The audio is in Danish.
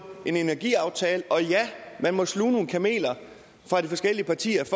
en energiaftale og ja man måtte sluge nogle kameler fra de forskellige partiers